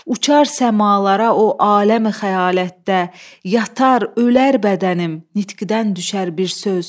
uçar səmalara o aləmi xəyalətdə, yatar, ölər bədənim, nitqdən düşər bir söz.